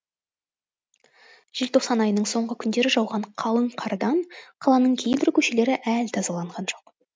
желтоқсан айының соңғы күндері жауған қалың қардан қаланың кейбір көшелері әлі тазаланған жоқ